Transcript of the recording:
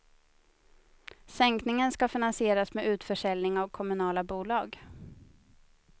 Sänkningen ska finansieras med utförsäljning av kommunala bolag.